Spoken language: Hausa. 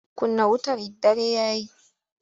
Kunna wutar dare ya yi!